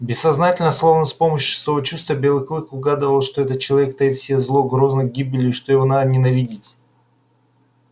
бессознательно словно с помощью шестого чувства белый клык угадывал что этот человек таит в себе зло грозит гибелью и что его надо ненавидеть